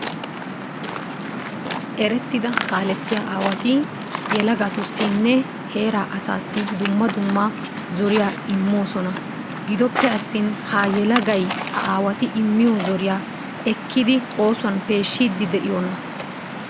Erettida kaalettiya aawati yelagatussinne heeraa asaassi dumma dumma zoriya immoosona. Gidoppe attin ha yelagay ha aawati immiyo zoriya ekkidi oosuwan peeshshiiddi de'iyonaa?